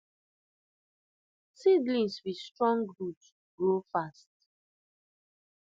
seedlings with strong root grow fast